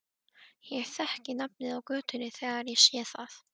Ég þekki nafnið á götunni þegar ég sé það.